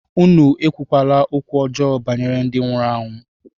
Unu ekwula okwu ọjọọ banyere ndị nwụrụ anwụ!